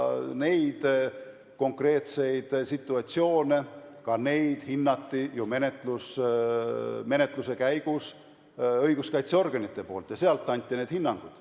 Neid konkreetseid situatsioone on õiguskaitseorganid menetluse käigus juba korduvalt hinnanud ja andnud oma hinnangud.